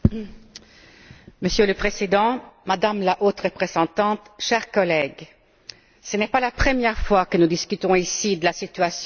Monsieur le Président, Madame la Haute représentante, chers collègues, ce n'est pas la première fois que nous discutons ici de la situation en Égypte.